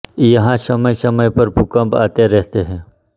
यहाँ समय समय पर भूकंप आते रहते हैं